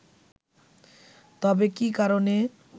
তবে কী কারণে